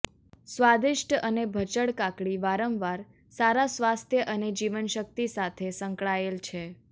સ્વાદિષ્ટ અને ભચડ કાકડી વારંવાર સારા સ્વાસ્થ્ય અને જીવનશક્તિ સાથે સંકળાયેલ છે